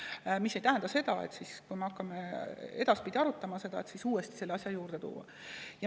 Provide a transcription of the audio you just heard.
Aga see ei tähenda seda, et kui me hakkame edaspidi seda arutama, uuesti selle asja juurde tulla.